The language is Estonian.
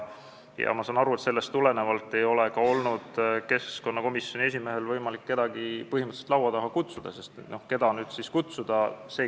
Ma saan aru, et sellest tulenevalt ei ole ka keskkonnakomisjoni esimehel olnud võimalik kedagi laua taha kutsuda, sest keda siis kutsuda.